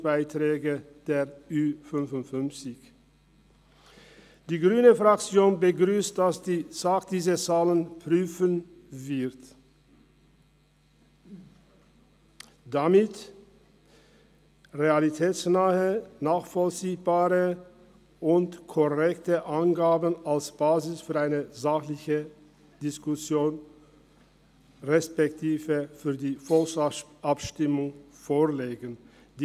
Die grüne Fraktion begrüsst die Prüfung der Zahlen durch die SAK, damit realitätsnahe und korrekte Angaben als Basis einer sachlichen Diskussion respektive der Volksabstimmung vorliegen werden.